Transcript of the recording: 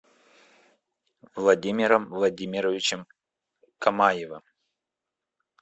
владимиром владимировичем камаевым